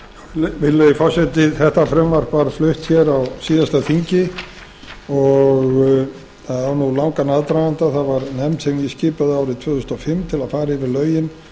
virðulegi forseti þetta frumvarp var flutt á síðasta þingi það á langan aðdraganda það var nefnd sem ég skipaði árið tvö þúsund og fimm til að fara yfir lögin